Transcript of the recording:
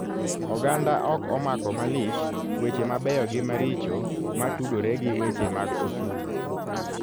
Oganda ok omako malich weche mabeyo gi maricho matudore gi weche mag osuru.